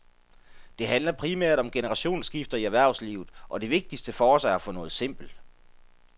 Det handler primært om generationsskifter i erhvervslivet, og det vigtigste for os er at få noget simpelt.